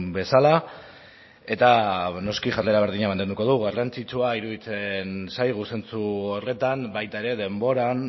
bezala eta noski jarrera berdina mantenduko dugu garrantzitsua iruditzen zaigu zentzu horretan baita ere denboran